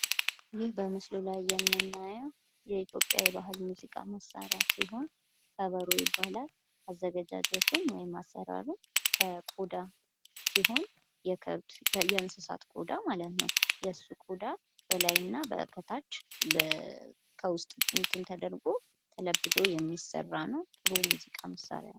ይህ በምስሉ ላይ የምናየው የኢትዮጵያ የባህል ሙዚቃ መሳሪያ ሲሆን ከበሮ ይባላል፡፡ አዘገጃጀቱ ወይም አሰራሩ ከቆዳ ሲሆን የ ከብት ፣ የ እንሰሳት ቆዳ ማለት ነው የሱ ቆዳ በላይ እና ከታች ከውስጥ ተደርጎ ተለብዶ የሚሰራ ነው፡፡ ጥሩ የሙዚቃ መሳሪያ ነው።